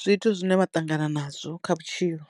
zwithu zwine vha ṱangana nazwo kha vhutshilo.